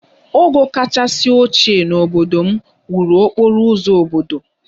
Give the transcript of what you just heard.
Ogo kachasị ochie n'obodo m wuru okporo ụzọ obodo